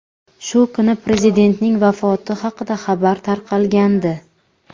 Shu kuni prezidentning vafoti haqida xabar tarqagandi.